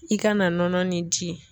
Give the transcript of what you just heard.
I kana nɔnɔ ni di.